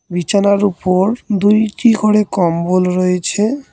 বিছানার উপর দুইটি করে কম্বল রয়েছে।